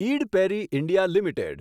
ID Parry India limited